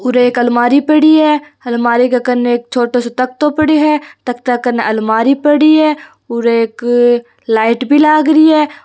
उर एक अलमारी पड़ी है अलमारी के कन एक छोटो सो तकतों पड़ो है तकता कन अलमारी पड़ी है उर एक लाइट भी लाग री है।